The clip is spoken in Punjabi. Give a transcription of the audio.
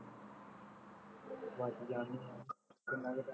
ਤਿੰਨ ਵੱਜ ਜਾਣੇ, ਕਿੰਨਾ ਕੁ time